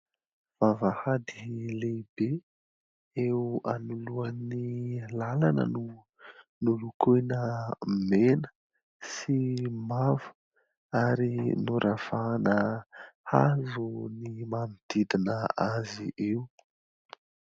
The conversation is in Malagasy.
Vavahady lehibe eo anoloan'ny làlana no nolokoina mena sy mavo ary noravahana hazo ny manodidina azy io.